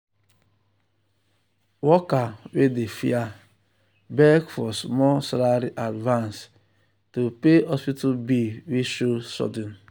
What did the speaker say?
worker wey dey fear beg for small salary advance to pay hospital bill wey show sudden.